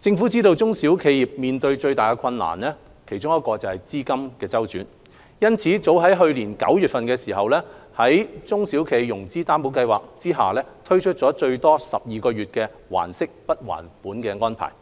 政府知道中小型企業面對的其中一個最大困難是資金周轉，因此早於去年9月在中小企融資擔保計劃下推出最多12個月"還息不還本"的安排。